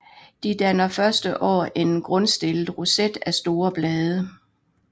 De danner første år en grundstillet roset af store blade